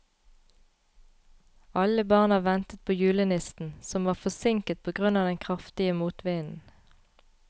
Alle barna ventet på julenissen, som var forsinket på grunn av den kraftige motvinden.